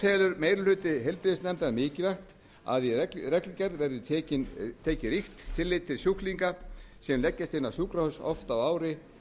telur meiri hluti heilbrigðisnefndar mikilvægt að í reglugerð verði tekið ríkt tillit til sjúklinga sem leggjast oft inn á sjúkrahús á ári